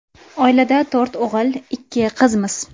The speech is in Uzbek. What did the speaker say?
Oilada to‘rt o‘g‘il, ikki qizmiz.